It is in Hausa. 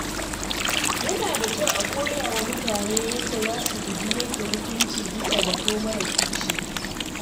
Yana da kyau a koya wa mutane yadda za su guji yanke hukunci bisa zato mara tushe.